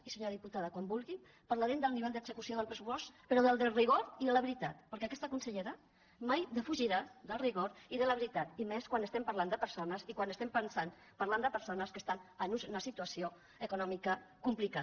i senyora diputada quan vulgui parlarem del nivell d’execució del pressupost però des del rigor i de la veritat perquè aquesta consellera mai defugirà del rigor i de la veritat i més quan estem par·lant de persones i quan estem parlant de persones que estan en una situació econòmica complicada